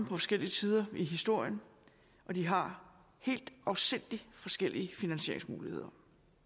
forskellige tider i historien og de har helt afsindig forskellige finansieringsmuligheder